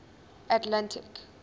atlantic